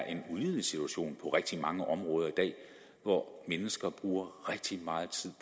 en ulidelig situation i rigtig mange områder i dag hvor mennesker bruger rigtig meget tid